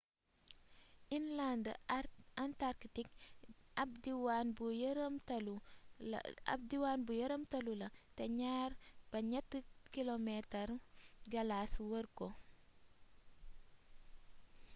inland antarktik ab diwaan bu yëramtalu la te 2-3 kilomeetaru galaas wër ko